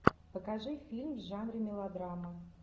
покажи фильм в жанре мелодрама